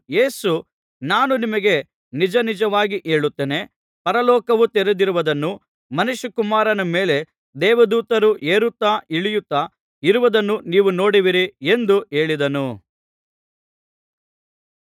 ಯೇಸು ನಾನು ನಿಮಗೆ ನಿಜ ನಿಜವಾಗಿ ಹೇಳುತ್ತೇನೆ ಪರಲೋಕವು ತೆರೆದಿರುವುದನ್ನೂ ಮನುಷ್ಯಕುಮಾರನ ಮೇಲೆ ದೇವದೂತರು ಏರುತ್ತಾ ಇಳಿಯುತ್ತಾ ಇರುವುದನ್ನೂ ನೀವು ನೋಡುವಿರಿ ಎಂದು ಹೇಳಿದನು